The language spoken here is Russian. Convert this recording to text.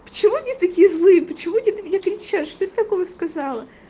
почему они такие злые почему они на меня кричат что я такого сказала